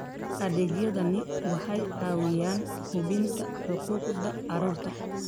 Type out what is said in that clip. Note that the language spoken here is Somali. Adeegyadani waxay caawiyaan hubinta xuquuqda carruurta.